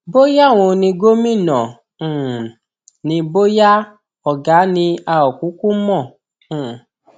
bóyá òun ni gómìnà um ni bóyá ọgá ni a ò kúkú mọ um